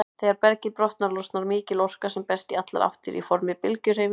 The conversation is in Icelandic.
Þegar bergið brotnar, losnar mikil orka sem berst í allar áttir í formi bylgjuhreyfingar.